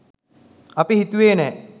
අපි හිතුවේ නෑ.